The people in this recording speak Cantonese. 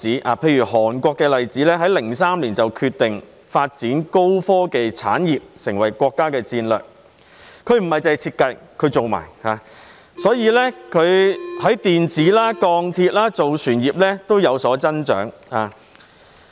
南韓在2003年決定發展高科技產業作為國家戰略，涵蓋設計及製造各個層面，在電子、鋼鐵、造船業均有所增長。